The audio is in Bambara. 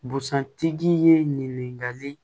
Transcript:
Busan tigi ye ɲininkali